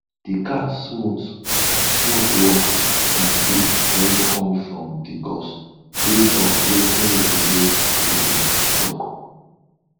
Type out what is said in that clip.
de cat smooth smooth walk na gift wey come from de gods base on wetin village legends talk